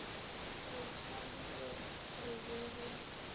re tšhabile re be re